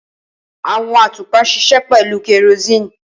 Awọn atupa ṣiṣẹ pẹlu kerosene.